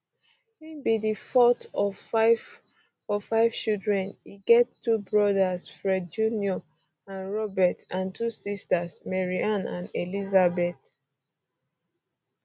im be um di fourth of five of five children e get two brothers fred jr and um robert and two sisters maryanne and elizabeth